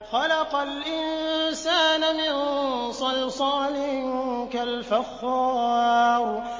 خَلَقَ الْإِنسَانَ مِن صَلْصَالٍ كَالْفَخَّارِ